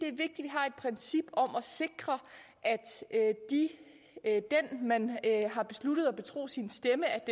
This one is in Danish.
har et princip om at sikre at den man har besluttet at betro sin stemme